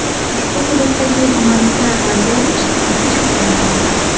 Ushbu hududdagi gumanitar vaziyat jiddiyligicha qolmoqda.